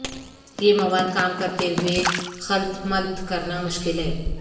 یہ مواد کام کرتے ہوئے خلط ملط کرنا مشکل ہے